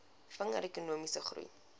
vinniger ekonomiese groei